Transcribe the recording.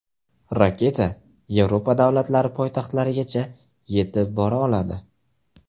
Raketa Yevropa davlatlari poytaxtlarigacha yetib bora oladi.